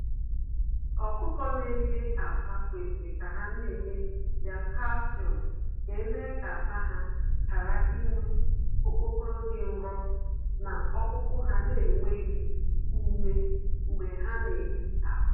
Ọkụkọ na eye akwa kwesịrị ka ha na enye ya Kalsiọm, ga eme ka akwa ha ghara inwe okpokoro dị nro, na okpukpu ha na enweghị ume, mgbe ha na eye akwa.